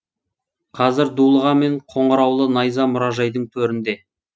қазір дулыға мен қоңыраулы найза мұражайдың төрінде